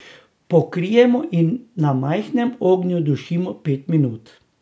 Pokrijemo in na majhnem ognju dušimo pet minut.